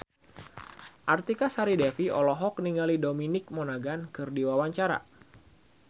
Artika Sari Devi olohok ningali Dominic Monaghan keur diwawancara